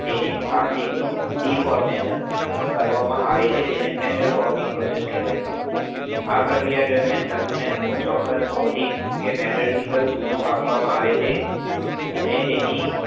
તેનું plastic deformation કરવામાં આવે, તો તેને metal forming process કહેવામાં આવે છે. આ ક્રિયા દરમિયાન ધાતુને અમુક ચોક્કસ ભૌતિક કે metaljertical મુક્કો આપવામાં આવે છે અને તેની